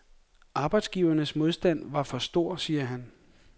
Arbejdsgivernes modstand var for stor, siger han.